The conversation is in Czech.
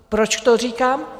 Proč to říkám?